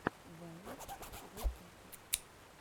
вайн засады